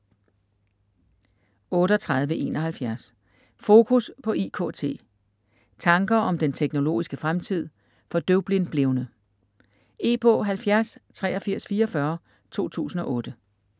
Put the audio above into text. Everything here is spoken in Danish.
38.71 Focus på IKT: tanker om den teknologiske fremtid for døvblindblevne E-bog 708344 2008.